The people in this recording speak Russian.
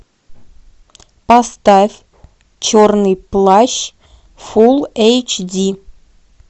поставь черный плащ фул эйч ди